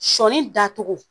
Sɔɔni da cogo!